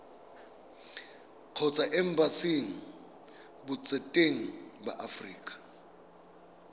kgotsa embasing botseteng ba aforika